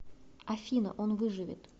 афина он выживет